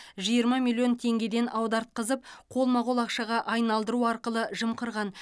жиырма миллион теңгеден аудартқызып қолма қол ақшаға айналдыру арқылы жымқырған